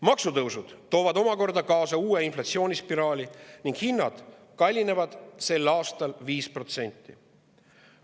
Maksutõusud toovad omakorda kaasa uue inflatsioonispiraali ning hinnad kallinevad sel aastal 5%.